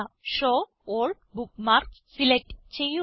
show all bookmarks select ചെയ്യുക